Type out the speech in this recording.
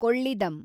ಕೊಳ್ಳಿಡಮ್